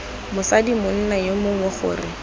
mosadi monna yo mongwe gore